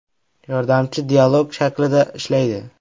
Yordamchi dialog shaklida ishlaydi.